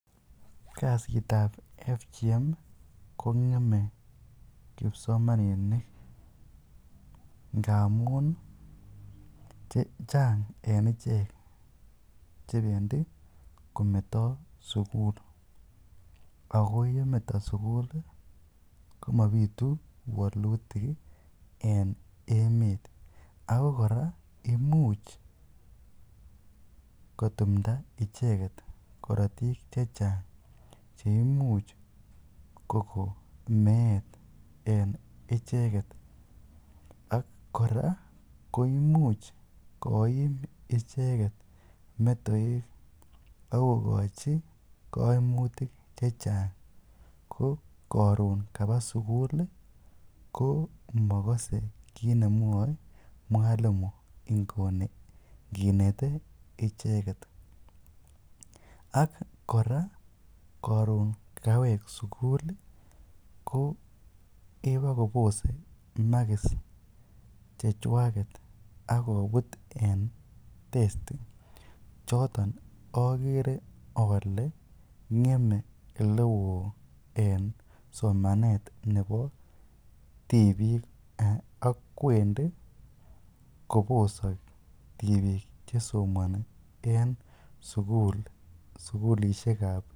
Kasitab FGM ko ng'eme kipsomaninik ngamun chang en ichek che bendi kometo sugl. AGo yemeto sugul komabitu waluitik en emet. Ago kora imuch kotumda icheget korotik che chang che imuch kogonmeet en icheget ak kora koimuch koiim icheget metoek ak kogochi koimutik che chang ko koron kaba sugul ko mogose kiit nemwoe mwalimu nguni nginete icheget. Ak kora koron kawek sugul ko kebokobose makis chechwaget ak kobut en testi choton ogere ole ng'eme ole oo en somanetab nebo tibik ak kwendi kobose tibik che somoni en sugulisiek.